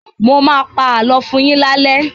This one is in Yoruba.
Mọ máa pa àlọ́ fún yín lálé!